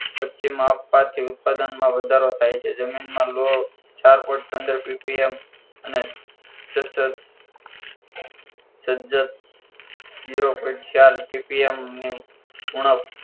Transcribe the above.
પછીમાં આપવાથી ઉત્પાદનમાં વધારો થાય છે જમીનમાં લોહ ચાર point પંદર પીપીએમ અને સે સજ્જત જીરો point ચાર પીપીએમની ઉણપ